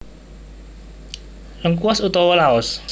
Lengkuas utawa Laos